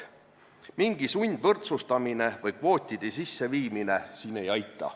Mingi sundvõrdsustamine või kvootide sisseviimine siin ei aita.